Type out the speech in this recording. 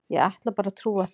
Ég ætla bara að trúa því.